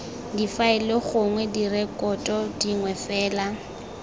difaele gongwe direkoto dingwe fela